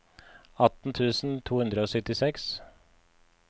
atten tusen to hundre og syttiseks